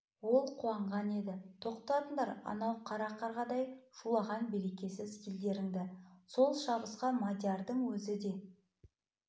оған ол қуанған еді тоқтатыңдар анау қара қарғадай шулаған берекесіз елдеріңді сол шабысқа мадиярдың өзі де